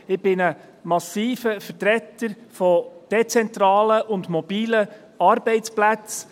Ich bin ein massiver Vertreter von dezentralen und mobilen Arbeitsplätzen.